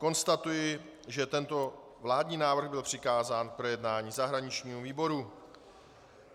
Konstatuji, že tento vládní návrh byl přikázán k projednání zahraničnímu výboru.